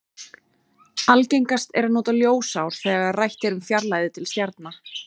Algengast er að nota ljósár þegar rætt er um fjarlægðir til stjarna.